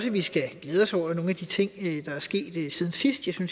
at vi skal glæde os over nogle af de ting der er sket siden sidst